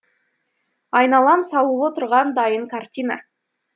айналам салулы тұрған дайын картина